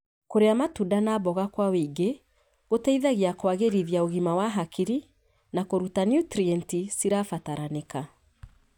Kũrĩa matunda na mboga kwa wĩingĩ gũteithagia kũagĩrithia ũgima wa hakiri na kũruta niutrienti cirabataranĩka.